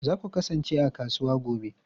Za ku kasance a kasuwa gobe?